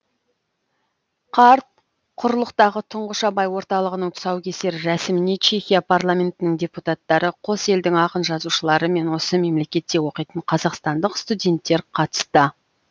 қарт құрлықтағы тұңғыш абай орталығының тұсаукесер рәсіміне чехия парламентінің депутаттары қос елдің ақын жазушылары мен осы мемлекетте оқитын қазақстандық студенттер қатысты